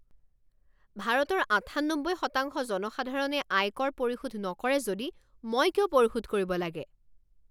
ভাৰতৰ আঠান্নব্বৈ শতাংশ জনসাধাৰণে আয়কৰ পৰিশোধ নকৰে যদি মই কিয় পৰিশোধ কৰিব লাগে?